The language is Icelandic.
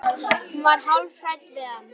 Hún var hálf hrædd við hann.